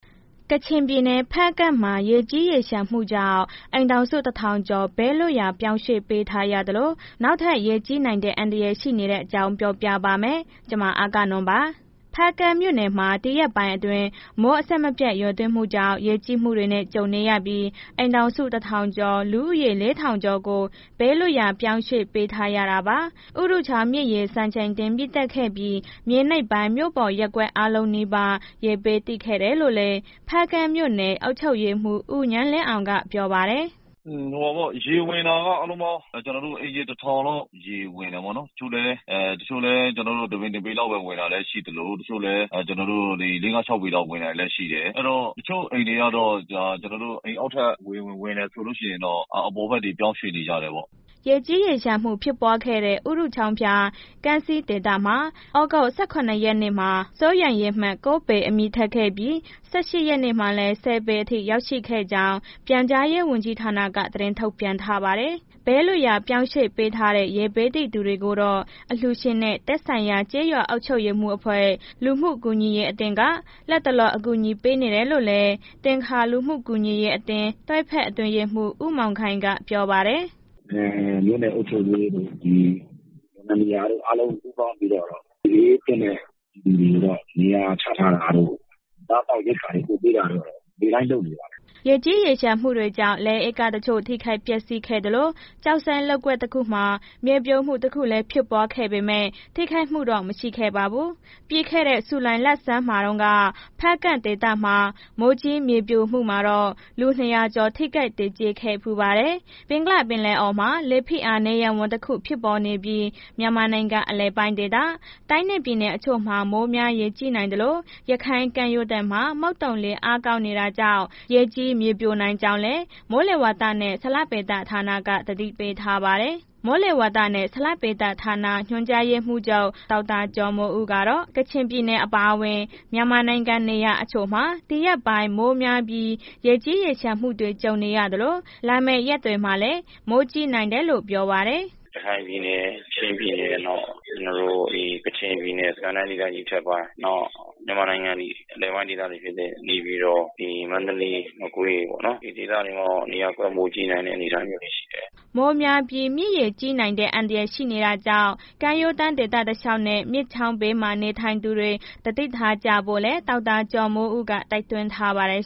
ကချင်ပြည်နယ်၊ ဖားကန့်မှာ ရေကြီးရေလျှံမှုကြောင့် အိမ်ထောင်စု ၁,၀၀၀ ကျော် ဘေးလွတ်ရာ ပြောင်းရွှေ့ပေးထားရသလို နောက်ထပ် ရေကြီးနိုင်တဲ့ အန္တရာယ် ရှိနေတဲ့အကြောင်းပြောပြပါမယ်။ ဗွီအိုအေမြန်မာပိုင်းသတင်းထောက် အဂ္ဂနွန်က သတင်းပေးပို့ထားပါတယ်။ ဖားကန့်မြို့နယ်မှာ ဒီရက်ပိုင်းအတွင်း မိုးအဆက်အပြတ်ရွာသွန်းမှုကြောင့် ရေကြီးမှုတွေနဲ့ ကြုံနေရပြီး အိမ်ထောင်စု ၁,၀၀၀ ကျော်၊ လူဦးရေ ၄,၀၀၀ ကျော်ကို ဘေးလွတ်ရာ ပြောင်းရွှေ့ပေးထားရတာပါ။ ဥရုချောင်းမြစ်ရေ စံချိန်တင်မြင့်တက်ခဲ့ပြီး မြေနိမ့်ပိုင်း မြို့ပေါ်ရပ်ကွက် အားလုံးနီးပါး ရေဘေးသင့်ခဲ့တာလို့လည်း ဖားကန့်မြို့နယ် အုပ်ချုပ်ရေးမှူး ဦးဉာဏ်လင်းအောင်က ပြောပါတယ်။ “ရေဝင်တာက အားလုံးပေါင်း ကျနော်တို့ အိမ်ခြေ ၁၀၀၀ လောက် ရေဝင်တယ်ပေါ့နော်၊ တချို့လည်း တစ်ပေလောက် ဝင်တာရှိသလို တချို့လည်း ၄၊ ၅၊ ၆ ပေ လောက်ဝင်တာလည်းရှိတယ်။ အဲ့တော့ တချို့ အိမ်တွေက ကျနော်တို့ အိမ်အောက်ထပ် ဝင်တယ်ဆိုလို့ရှိရင် အပေါ်ဘက်တွေ ပြောင်းရွှေ့နေကြတယ်ပေါ့။” ရေကြီး ရေလျှံမှုဖြစ်ပွားခဲ့တဲ့ ဥရုချောင်းဖျား ကံဆီးဒေသမှာ သြဂုတ် ၁၇ ရက်နေ့က စိုးရိမ်ရေမှတ် ၉ ပေ အမြင့်ထက် ခဲ့ပြီး ၁၈ ရက်နေ့မှာလည်း ၁၀ ပေအထိ ရောက်ရှိခဲ့ကြောင်း ပြန်ကြားရေးဝန်ကြီးဌာနက သတင်းထုတ်ပြန်ထားပါတယ်။ ဘေးလွတ်ရာ ပြောင်းရွှေ့ပေးထားတဲ့ ရေဘေးသင့်သူတွေကိုတော့ အလှူရှင်တွေနဲ့ သက်ဆိုင်ရာ ရပ်ကွက်ကျေးရွာအုပ်ချုပ်ရေးအဖွဲ့၊ လူမှုကူညီရေးအသင်းတွေက လတ်တလော အကူအညီပေးနေတယ်လို့လည်း သင်္ခါလူမှုကူညီရေးအသင်း တွဲဖက်အတွင်းရေးမှူး ဦးမောင်ခိုင်က ပြောပါတယ်။ “မြို့နယ်အုပ်ချုပ်ရေးတွေ အားလုံးပူးပေါင်းပြီးတော့ ဘေးသင့်တဲ့ ပြည်သူတွေကို နေရာချထားတာတို့ အစားအသောက်ရိက္ခာ ပို့ပေးတာတို့တော့ နေ့တိုင်းလုပ်နေပါတယ်။” မိုးကြီးရေလျှံမှုတွေကြောင့် လယ်ဧက တချို့ ထိခိုက်ပျက်စီးခဲ့သလို ကျောက်စိမ်းလုပ်ကွက်တခုမှာ မြေပြိုမှုတခုလည်း ဖြစ်ပွားခဲ့ပေမဲ့ ထိခိုက်မှုတော့ မရှိခဲ့ပါဘူး။ ပြီးခဲ့တဲ့ ဇူလိုင်လဆန်းမှာတုန်းက ဖားကန့်ဒေသမှာ မိုးကြီးမြေပြိုမှုမှာတော့ လူ ၂၀၀ ကျော် ထိခိုက်သေကျေခဲ့ဖူးပါတယ်။ ဘင်္ဂလားပင်လယ်အော်မှာ လေဖိအားနည်းရပ်ဝန်း တစ်ခုဖြစ်ပေါ်နေပြီး မြန်မာနိုင်ငံအလယ်ပိုင်းဒေသ တိုင်းနဲ့ ပြည်နယ်အချို့မှာ မိုးများရေကြီးနိုင်သလို၊ ရခိုင်ကမ်းရိုးတန်းမှာ မုတ်သုန်လေအားကောင်းနေတာကြောင့် ရေကြီးမြေပြိုနိုင်ကြောင်းလည်း မိုးလေဝသနဲ့ ဇလဗေဒဌာနက သတိပေးထားပါတယ်။ မိုးလေဝသနဲ့ ဇလဗေဒဌာန ညွှန်ကြားရေးမှူးချုပ် ဒေါက်တာကျော်မိုးဦးကတော့ ကချင်ပြည်နယ် အပါအဝင် မြန်မာနိုင်ငံနေရာတချို့မှာ ဒီရက်ပိုင်း မိုးများပြီး ရေကြီးရေလျှံမှုတွေ ကြုံနေရသလို လာမယ့်ရက်တွေမှာလည်း မိုးကြီးနိုင်တယ်လို့ ပြောပါတယ်။ “ရခိုင်ပြည်နယ်၊ ချင်းပြည်နယ်၊ နောက် ကချင်ပြည်နယ်၊ စစ်ကိုင်းတိုင်းဒေသကြီးအထက်ပိုင်း နောက် မြန်မာနိုင်ငံရဲ့ အလယ်ပိုင်းဒေသတွေ ဖြစ်တဲ့ နေပြည်တော်၊ မန္တလေး၊ မကွေးပေါ့နော် ဒီဒေသတွေမှာ နေရာကွက်မိုးကြီးနိုင်တဲ့ အနေအထားမျိုးတွေရှိတယ်။” မိုးများပြီး မြစ်ရေကြီးနိုင်တဲ့ အန္တရာယ် ရှိနေတာကြောင့် ကမ်းရိုးဒေသတလျှောက်နဲ့ မြစ်ချောင်းဘေးမှာ နေထိုင်သူတွေ သတိထားကြဖို့လည်း ဒေါက်တာ ကျော်မိုးဦးက တိုက်တွန်းထားပါတယ်